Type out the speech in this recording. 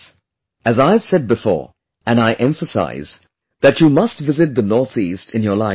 As I have said before, and I emphasize, that you must visit the northeast in your lifetime